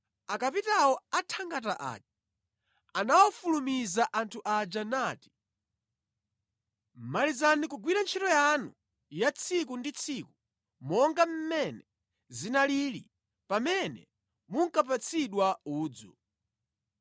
Akapitawo a thangata aja anawafulumiza anthu aja nati, “Malizani kugwira ntchito yanu ya tsiku ndi tsiku monga mmene zinalili pamene munkapatsidwa udzu.”